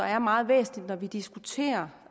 er meget væsentligt når vi diskuterer